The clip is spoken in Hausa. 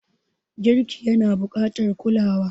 Girki yana buƙatar kulawa.